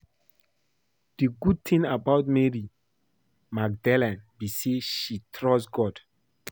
The good thing about Mary Magdalene be say she trust God